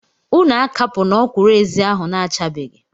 Unu akapuna ọkwụrụ-ezi ahụ. na-achabeghị!